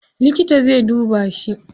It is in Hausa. Likita zai duba shi.